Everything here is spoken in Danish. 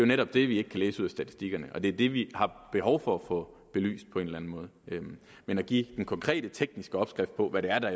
netop det vi ikke kan læse ud af statistikkerne og det er det vi har behov for få belyst på en eller anden måde men at give den konkrete tekniske opskrift på hvad det er der